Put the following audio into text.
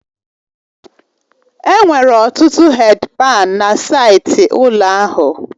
Enwere ọtụtụ hèdi pani na saịtị ụlọ ahụ